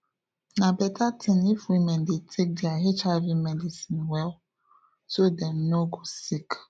na better thing if women dey take their hiv medicine well so dem no go sick